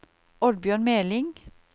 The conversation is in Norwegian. Oddbjørn Meling